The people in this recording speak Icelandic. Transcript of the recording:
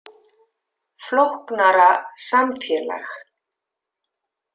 Flóknara samfélag